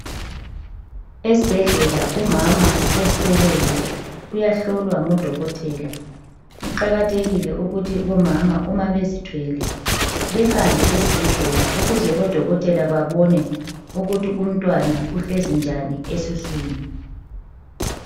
Esibhedlela umama ozithweleyo uyahlolwa ngodokotela. Kuqakathekile ukuthi omama mabezithwele behambe esibhedlela ukuze odokotela bebone ukuthi umntwana uhlezi njani esiswini.